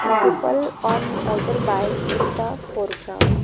And people on motor bikes in the foreground.